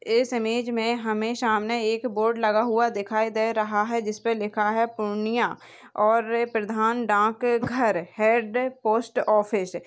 इस इमेज मे हमे सामने एक बोर्ड लगा हुआ दिखाई दे रहा है जिसपे लिखा है पूर्णिया और प्रधान डाक घर हेड पोस्ट ऑफिस --